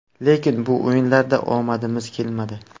Lekin bu o‘yinlarda omadimiz kelmadi.